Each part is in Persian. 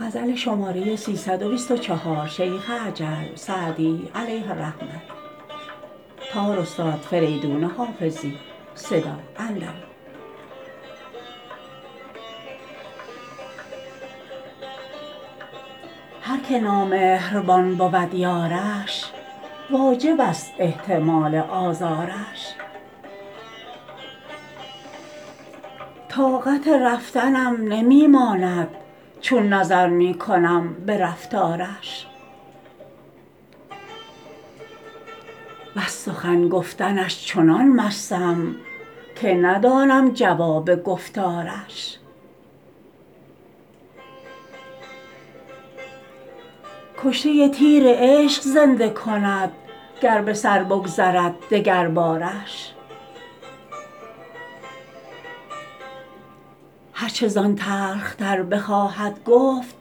هر که نامهربان بود یارش واجب است احتمال آزارش طاقت رفتنم نمی ماند چون نظر می کنم به رفتارش وز سخن گفتنش چنان مستم که ندانم جواب گفتارش کشته تیر عشق زنده کند گر به سر بگذرد دگربارش هر چه زان تلخ تر بخواهد گفت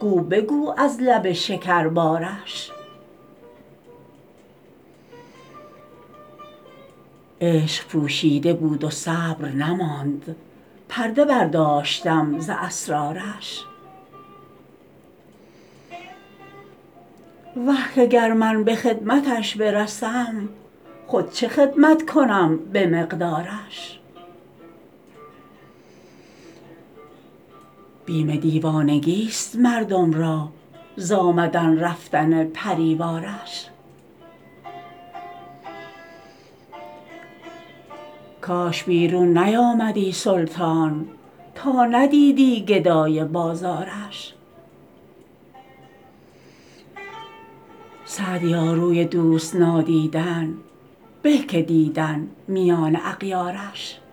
گو بگو از لب شکربارش عشق پوشیده بود و صبر نماند پرده برداشتم ز اسرارش وه که گر من به خدمتش برسم خود چه خدمت کنم به مقدارش بیم دیوانگیست مردم را ز آمدن رفتن پری وارش کاش بیرون نیامدی سلطان تا ندیدی گدای بازارش سعدیا روی دوست نادیدن به که دیدن میان اغیارش